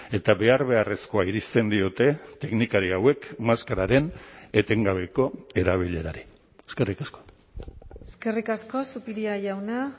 eta behar beharrezkoa irizten diote teknikari hauek maskararen etengabeko erabilerari eskerrik asko eskerrik asko zupiria jauna